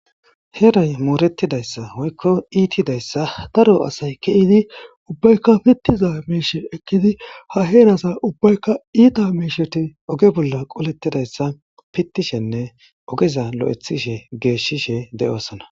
Heray mooretidaysa woyko ittidaysa daro asay ke'idi ubbayka pitiza miishe ekidi ha heeraza ubbayka itta miisheyo oge bolla qoletodaysa pitishenne ogeza loythishe geeshishe